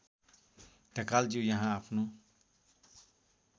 ढकालज्यू यहाँ आफ्नो